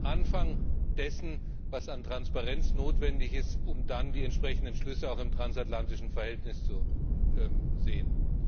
Wir sind am Anfang dessen, was an Transparenz notwendig ist, um dann die entsprechenden Entschlüsse auch im transatlantischen Verhältnis zu sehen.